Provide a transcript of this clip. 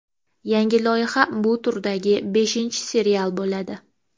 Yangi loyiha bu turdagi beshinchi serial bo‘ladi.